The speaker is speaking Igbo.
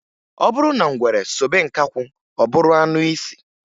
Ọ bụrụ na ngwere sobe nkakwụ ọ bụrụ anụisi.